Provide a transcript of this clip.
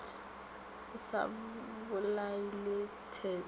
a sa bolaile tshetlo le